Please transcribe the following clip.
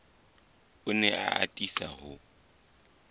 o ne a atisa ho